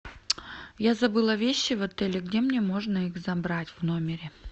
я забыла вещи в отеле где мне можно их забрать в номере